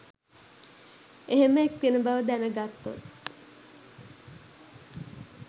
එහෙම එක්වෙන බව දැන ගත්තොත්